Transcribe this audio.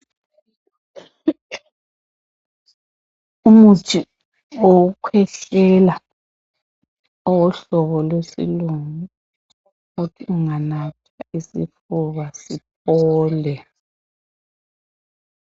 Umuthi wokukhwehlela owohlobo lwesilungu othi unganatha isifuba siphole